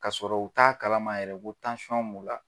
K'a sɔrɔ u t'a kalama yɛrɛ ko tansɔn b'u la!